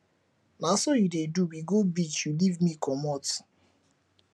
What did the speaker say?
na so you dey do we go beach you leave me comot